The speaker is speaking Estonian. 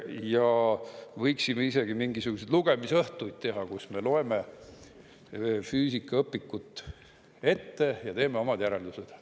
Ja võiksime isegi mingisuguseid lugemisõhtuid teha, kus me loeme füüsikaõpikut ette ja teeme omad järeldused.